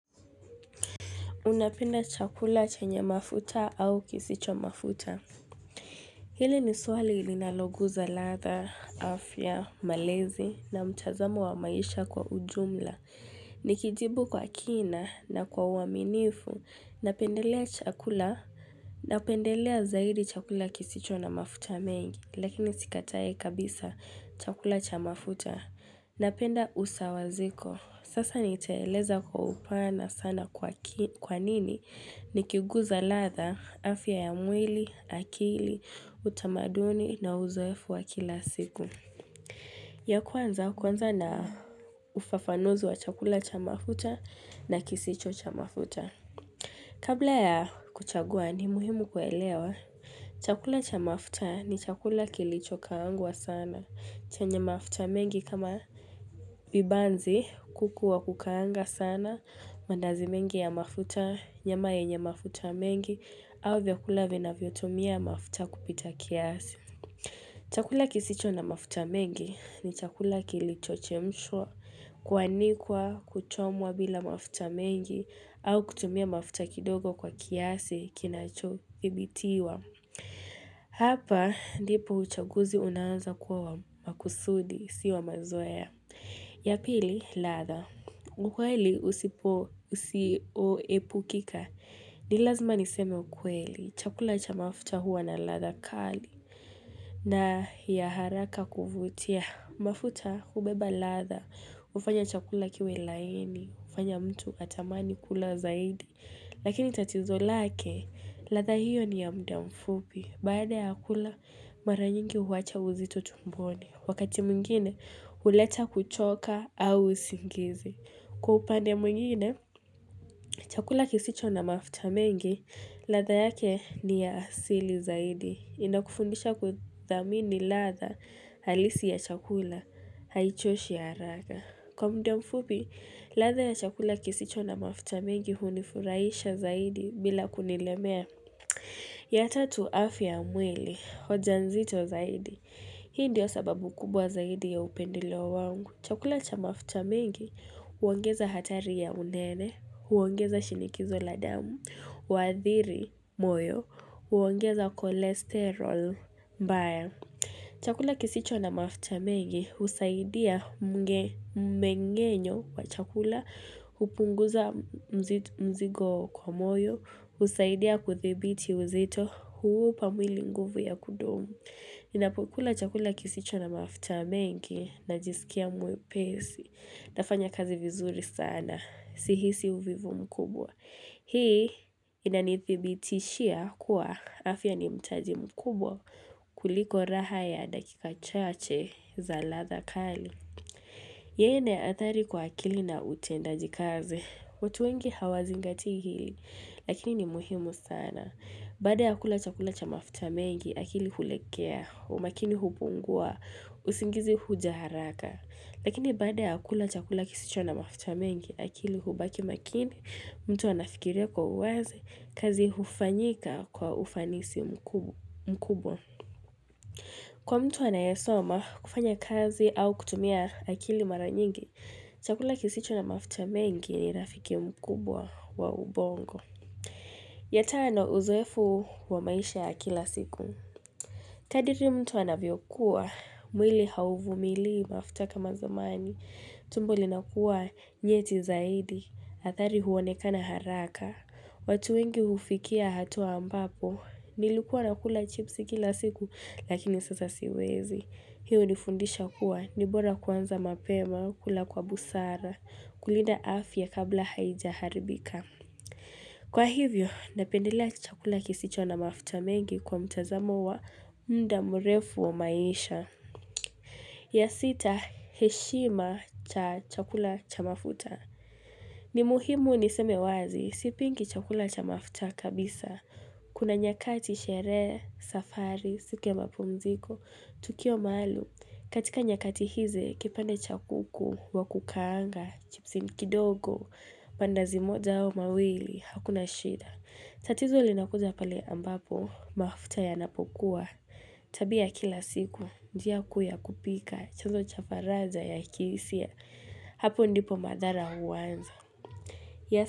Unapenda chakula chenye mafuta au kisicho mafuta. Hili ni swali ilinaloguza ladha, afya, malezi na mtazamo wa maisha kwa ujumla. Nikijibu kwa kina na kwa uaminifu. Napendelea chakula, napendelea zaidi chakula kisicho na mafuta mengi. Lakini sikatai kabisa chakula cha mafuta. Napenda usawaziko. Sasa nitaeleza kwa upana sana kwa nini. Ni kiguza ladha, afya ya mwili, akili, utamaduni na uzoefu wa kila siku. Ya kwanza kuanza na ufafanuzi wa chakula cha mafuta na kisicho cha mafuta. Kabla ya kuchagua ni muhimu kuelewa. Chakula cha mafuta ni chakula kilichokaangwa sana. Chenye mafuta mengi kama vibanzi kuku wa kukaanga sana, mandazi mengi ya mafuta, nyama yenye mafuta mengi, au vyakula vinavyotumia mafuta kupita kiasi. Chakula kisicho na mafuta mengi ni chakula kilichochemshwa, kuanikwa kuchomwa bila mafuta mengi, au kutumia mafuta kidogo kwa kiasi kinachothibitiwa. Hapa, ndipo uchaguzi unaanza kuwa wa makusudi, sio wa mazoea. Ya pili, ladha. Ukweli usipo usioepukika. Ni lazima niseme ukweli. Chakula cha mafuta huwa na ladha kali. Na ya haraka kuvutia. Mafuta hubeba ladha. Hufanya chakula kiwe laini. Hufanya mtu atamani kula zaidi. Lakini tatizo lake. Ladha hiyo ni ya muda mfupi. Baada ya kula, mara nyingi huacha uzito tumboni. Wakati mwingine, huleta kuchoka au usingizi. Kwa upande mwingine, chakula kisicho na mafuta mengi, ladha yake ni ya asili zaidi. Inakufundisha kuthamini ladha halisi ya chakula haichoshi haraka. Kwa muda mfupi, ladha ya chakula kisicho na mafuta mengi hunifurahisha zaidi bila kunilemea. Ya tatu afya ya mwili, hoja nzito zaidi. Hii ndiyo sababu kubwa zaidi ya upendeleo wangu. Chakula cha mafuta mengi huongeza hatari ya unene, huongeza shinikizo la damu, huathiri moyo, huongeza cholesterol mbaya. Chakula kisicho na mafuta mengi husaidia mmeng'enyo wa chakula, hupunguza mzigo kwa moyo, husaidia kudhibiti uzito huupa mwili nguvu ya kudumu. Ninapokula chakula kisicho na mafuta mengi najisikia mwepesi, nafanya kazi vizuri sana, sihisi uvivu mkubwa. Hii inanithibitishia kuwa afya ni mtaji mkubwa kuliko raha ya dakika chache za ladha kali. Ya nne hatari kwa akili na utendaji kazi. Watu wengi hawazingati hili, lakini ni muhimu sana. Baada ya kula chakula cha mafuta mengi, akili hulegea, umakini hupungua, usingizi huja haraka. Lakini baada ya kula chakula kisicho na mafuta mengi akili hubaki makini, mtu anafikiria kwa uwazi kazi hufanyika kwa ufanisi mkubwa. Kwa mtu anaesoma kufanya kazi au kutumia akili mara nyingi, chakula kisicho na mafuta mengi ni rafiki mkubwa wa ubongo. Ya tano uzoefu wa maisha ya kila siku. Kadiri mtu anavyokua, mwili hauvumilii mafuta kama zamani, tumbo linakuwa nyeti zaidi, athari huonekana haraka, watu wengi hufikia hatua ambapo, nilukuwa nakula chipsi kila siku lakini sasa siwezi, hiyo hunifundisha kuwa ni bora kuanza mapema, kula kwa busara, kulinda afya kabla haijaharibika. Kwa hivyo, napendelea chakula kisicho na mafuta mengi kwa mtazamo wa muda mrefu wa maisha. Ya sita, heshima cha chakula cha mafuta. Ni muhimu niseme wazi, sipingi chakula cha mafuta kabisa. Kuna nyakati sherehe, safari, siku ya mapumziko, tukio maalum. Katika nyakati hizi, kipande cha kuku, wa kukaanga, chipsi kidogo, mandazi moja au mawili, hakuna shida. Tatizo linakuja pale ambapo, mafuta yanapokuwa, tabia ya kila siku, njia kuu ya kupika, chazo cha faraja ya kihisia, hapo ndipo madhara huanza.